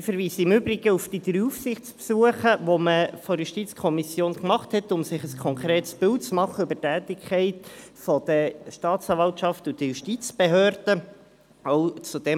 Ich verweise im Übrigen auf die drei Aufsichtsbesuche, die wir vonseiten der JuKo gemacht haben, um uns ein konkretes Bild über die Tätigkeit der Staatsanwaltschaft und der Justizbehörden zu machen.